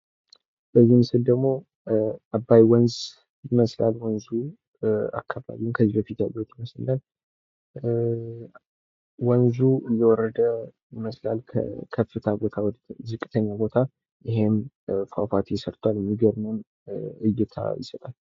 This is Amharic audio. በዚህ ምስል ደግሞ አባይ ወንዝ ይመስላል ወንዙ። ፏፏቴውንም ስናይ ወንዙ እየወረደ ይመስላል ከከፍታ ቦታ ወደ ዝቅተኛ ቦታ ይህም ፏፏቴ ሰርቷል። የሚገርም እይታ የሳያል።